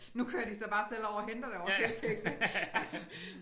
Nu kører de så bare selv over og henter det ovre i Føtex ik altså